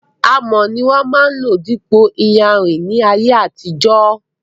Amọ̀ ni wón máa ń lò dípò iyanrìn ní ayé àtijó.